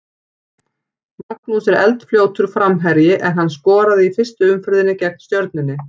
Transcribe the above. Magnús er eldfljótur framherji en hann skoraði í fyrstu umferðinni gegn Stjörnunni.